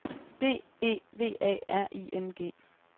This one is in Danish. B E V A R I N G